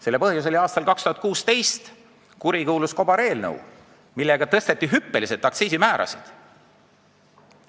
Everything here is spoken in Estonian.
Selle põhjus oli aastal 2016 heaks kiidetud kurikuulus kobareelnõu, millega tõsteti hüppeliselt aktsiismäärasid.